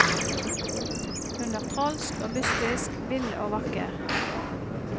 Hun er trolsk og mystisk, vill og vakker.